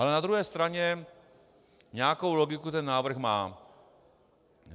Ale na druhé straně nějakou logiku ten návrh má.